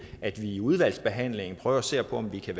at vi i udvalgsbehandlingen prøver at se på om vi kan